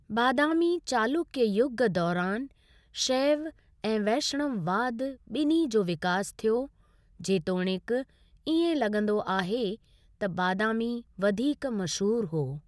बादामी चालुक्य युग दौरान शैव ऐं वैष्णववाद ॿिन्हीं जो विकास थियो, जेतोणीकि इएं लॻंदो आहे त बादामी वधीक मशहूर हो।